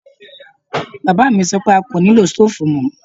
Bàbá mi sọ pé a kò nilo stoofu mọ.